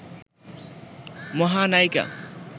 মহানায়িকা